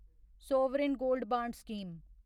sovereign gold bond scheme